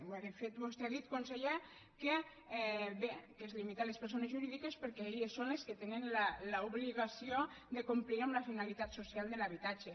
bé de fet vostè ha dit conseller que bé que es limita a les persones jurídiques perquè elles són les que tenen l’obligació de complir amb la finalitat social de l’habitatge